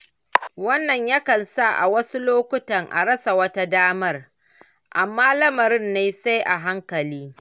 Wannan yakan sa a wasu lokutan a rasa wata damar, amma lamarin ne sai a hankali.